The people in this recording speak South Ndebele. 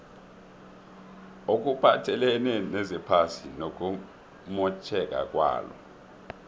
okuphathelene nezephasi nokumotjheka kwalo